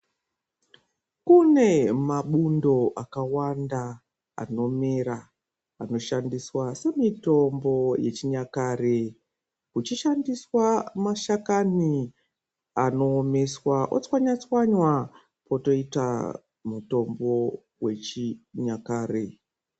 Kune mabundo akawanda anomera anoshandiswa semitombo yechinyakare uchishandisa mashakani anowomeswa otswanywa tswanywa wotoita mutombo wechinyakare